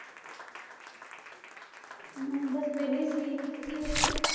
ਮੈਂ ਬਸ ਵੇਹਲੀ ਸੀ ਤੁਸੀਂ ਦਸੋ